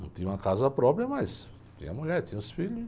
Não tinha uma casa própria, mas tinha mulher, tinha os filhos.